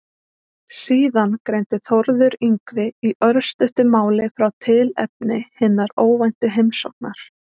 Síðan greindi Þórður Yngvi í örstuttu máli frá tilefni hinnar óvæntu heimsóknar.